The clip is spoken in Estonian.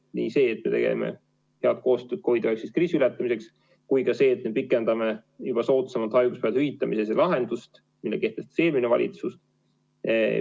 Nii see, et me teeme koostööd COVID‑19 kriisi ületamiseks, kui ka see, et me pikendame soodsamat haiguspäevade hüvitamise lahendust, mille kehtestas eelmine valitsus.